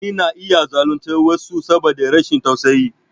Mutane na iya zaluntar wasu saboda rashin tausayi.